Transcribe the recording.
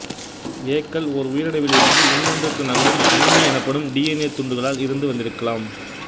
ஏ க்கள் ஓர் உயிரணுவில் இருந்து இன்னொன்றுக்கு நகரும் கணிமி எனப்படும் டி என் ஏ துண்டுகளில் இருந்து வந்திருக்கலாம்